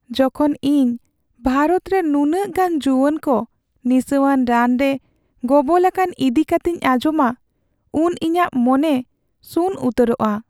ᱡᱚᱠᱷᱚᱱ ᱤᱧ ᱵᱷᱟᱨᱚᱛ ᱨᱮ ᱱᱩᱱᱟᱹᱜ ᱜᱟᱱ ᱡᱩᱣᱟᱹᱱ ᱠᱚ ᱱᱤᱥᱟᱹᱣᱟᱱ ᱨᱟᱱ ᱨᱮ ᱜᱚᱵᱚᱞ ᱟᱠᱟᱱ ᱤᱫᱤ ᱠᱟᱛᱮᱧ ᱟᱸᱡᱚᱢᱟ ᱩᱱ ᱤᱧᱟᱹᱜ ᱢᱚᱱᱮ ᱥᱩᱱ ᱩᱛᱟᱹᱨᱚᱜᱼᱟ ᱾